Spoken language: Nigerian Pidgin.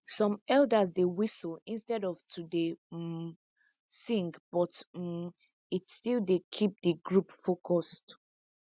some elders dey whistle instead of to dey um sing but um it still dey keep de group focused